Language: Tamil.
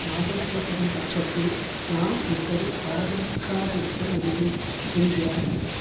ஆதரிக்கப்படும் பட்சத்தில் நாம் எப்படி ஆதரிக்காதிருக்க முடியும் என்கிறார் அவர்